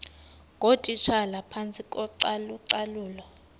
ngootitshala phantsi kocalucalulo